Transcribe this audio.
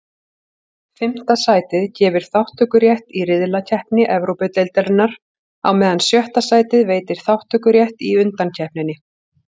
Fimmta sætið gefur þátttökurétt í riðlakeppni Evrópudeildarinnar, á meðan sjötta sætið veitir þátttökurétt í undankeppninni.